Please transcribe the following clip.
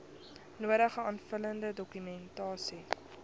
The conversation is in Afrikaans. nodige aanvullende dokumentasie